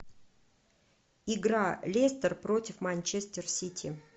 игра лестер против манчестер сити